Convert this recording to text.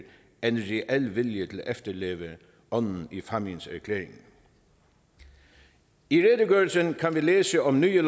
end reel vilje til at efterleve ånden i fámjinerklæringen i redegørelsen kan vi læse om nye